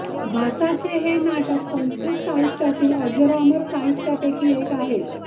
भासाचे हे नाटक संस्कृत साहित्यातील अजरामर साहित्यापैकी एक आहे